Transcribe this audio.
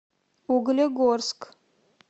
углегорск